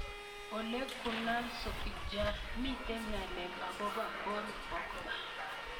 Ole Gunnar Solskjaer: Mite ngalalet akopo Paul Pogba.